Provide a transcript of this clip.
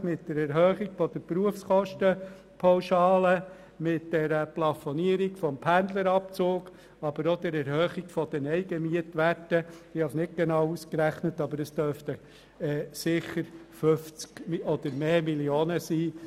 Mit der Anpassung der Berufskostenpauschale, der Plafonierung des Pendlerabzugs, aber auch der Erhöhung der Eigenmietwerte hat man den natürlichen Personen sicher mindestens 50 Mio. Franken zusätzlich aufgeladen.